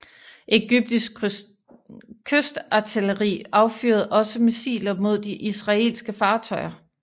Egyptisk kystartilleri affyrede også missiler mod de israelske fartøjer